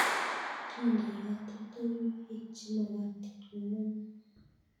Kindeni katoltoliwekche magotin ng'ungunyek